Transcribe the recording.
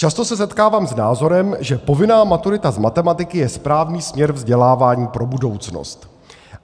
Často se setkávám s názorem, že povinná maturita z matematiky je správný směr vzdělávání pro budoucnost.